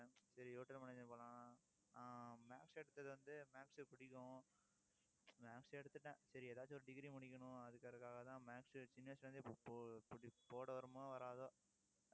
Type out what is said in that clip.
சரி ஆஹ் maths எடுத்தது வந்து, maths புடிக்கும் maths எடுத்துட்டேன். சரி ஏதாச்சு ஒரு degree முடிக்கணும் அதுக்காகத்தான் maths சின்ன வயசுல இருந்தே இப்~ போ~ போட வருமோ வராதோ